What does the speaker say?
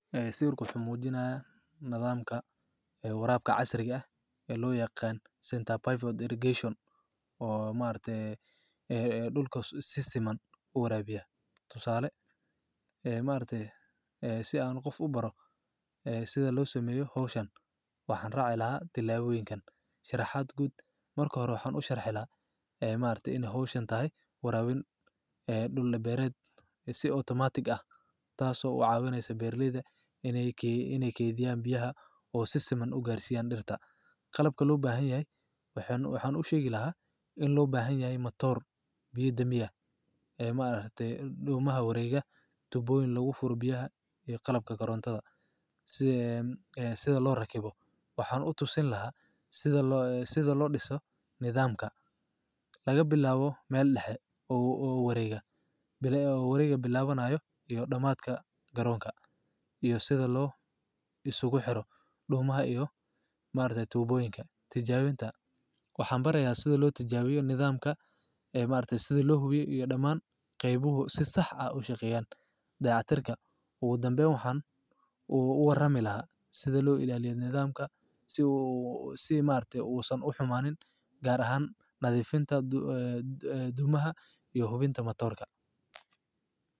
Ee si sawirku muxu muujinaya nidaamka ee waraab ka casri ah ee loo yaqaan Center Pivot Irrigation oo maarte ee dhulka si siman uurabaya. Tusaale, ee maarte si aan qof u baro ee sida loo sameeyo Hawshan waxaan raacay lahaa dilaa weynken. Sharaxaad gud markoo waxaan u sharxay lahaa ee maarte in Hawshan tahay waraawin ee dhulle beerayd si automatic ah taaso oo caawineysa beerleyda inay key inay keydiyaan biyaha oo si siman u gaarsiiyaan dhirta. Qalabka loo baahan yaaey waxaan waxaan u sheegi lahaa in loo baahan yahay matoor. Biyo damiya ee maarte dhumaha wareega tubowyn lagu furbiyaha iyo qalabka garoonada. Si ee sida loo rakibo. Waxaan u tusin lahaa sida loo sida loo dhisso nidaamka. Laga bilaabo meel dhexe uu u wareega bilaa uu wareega bilaabanayo iyo dhamaadka garoonka iyo sida loo isugu xiro dhumaha iyo maarte tubooyinka. Tijaabinta. Waxaan barayaa sida loo tijaabiyo nidaamka ee maarte sida loo hubiyay iyo dhammaan qeybuhu si sax ah u shaqeeyaan dayactirka. Ugu dambeyn waxaan uu ugu warami lahaa sida loo ilaaliyay nidaamka si uu si maante uusan u xumaaneen gaar ahaan nadifinta du dumaha iyo hubinta matoorka.